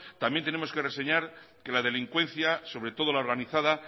también tenemos que reseñar que la delincuencia sobre todo la organizada